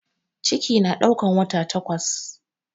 Ciki na ɗaukan wata takwas